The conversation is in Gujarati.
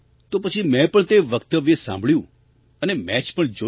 તો પછી મેં પણ તે વક્તવ્ય સાંભળ્યું અને મૅચ પણ જોઈ